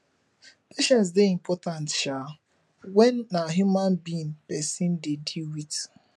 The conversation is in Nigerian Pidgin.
patience dey important um when na human being person dey deal with